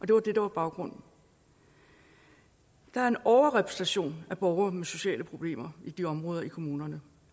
det var det der var baggrunden der er en overrepræsentation af borgere med sociale problemer i de områder i kommunerne